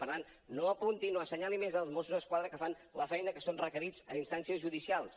per tant no apuntin o assenyalin més els mossos d’esquadra que fan la feina a què són requerits a instàncies judicials